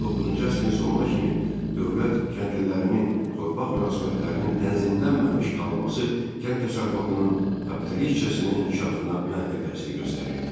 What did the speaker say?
19-cu əsrin sonuna kimi dövlət kəndlilərinin torpaq münasibətlərinin tənzimlənməmiş qalması kənd təsərrüfatının kapitalistcasına inkişafına mənfi təsir göstərirdi.